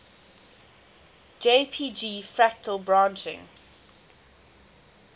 jpg fractal branching